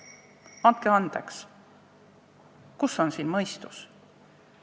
Andke andeks, kus on siin mõistus?